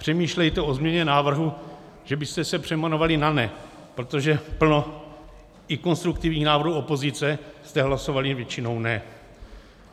Přemýšlejte o změně návrhu, že byste se přejmenovali na NE, protože plno i konstruktivních návrhů opozice jste hlasovali většinou ne.